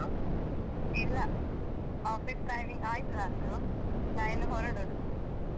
ಇಲ್ಲ office timing ಆಯ್ತು ನಂದು ನಾ ಇನ್ನು ಹೊರಡುದು.